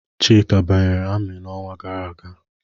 Chika banyere ami n'ọnwa gara aga.